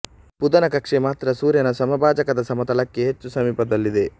ಬುಧದ ಕಕ್ಷೆ ಮಾತ್ರ ಸೂರ್ಯನ ಸಮಭಾಜಕದ ಸಮತಳಕ್ಕೆ ಹೆಚ್ಚು ಸಮೀಪದಲ್ಲಿದೆ